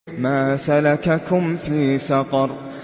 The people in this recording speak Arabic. مَا سَلَكَكُمْ فِي سَقَرَ